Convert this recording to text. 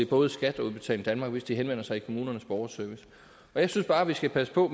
både skat og udbetaling danmark hvis de henvender sig i kommunernes borgerservice jeg synes bare at vi skal passe på